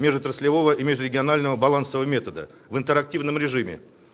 межотраслевого и межрегионального балансового метода в интерактивном режиме